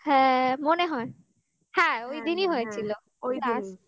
হ্যাঁ মনে হয় হ্যাঁ ওই দিনই হয়েছিল ওই দিন